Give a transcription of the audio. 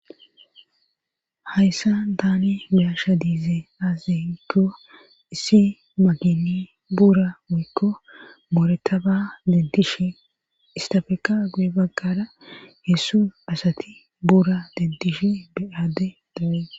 Hayssa daani biyasha diizee azekko issi magini bura wuikko boorettaba deddish istafeka guye baggara hessu asati buura deddish beyadde dabee.